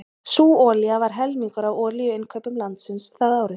Sú olía var helmingur af olíuinnkaupum landsins það árið.